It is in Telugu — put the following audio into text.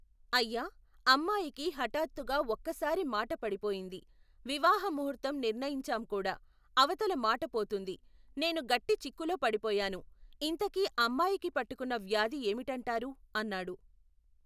అయ్యా, అమ్మాయికి హఠత్తుగా ఒక్కసారి మాట పడిపోయింది, వివాహ ముహూర్తం నిర్ణయించాంకూడా అవతల మాటపోతుంది నేను గట్టి చిక్కులో పడిపోయాను, ఇంతకీ అమ్మాయికి పట్టుకున్న వ్యాధి ఏమిటంటారు, అన్నాడు.